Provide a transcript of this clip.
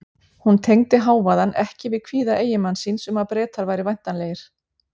Hún tengdi hávaðann ekki við kvíða eiginmanns síns um að Bretar væru væntanlegir.